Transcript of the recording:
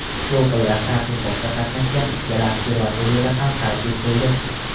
To‘lqinlar tadqiqotda qatnashgan ikkala observatoriyada ham qayd etildi.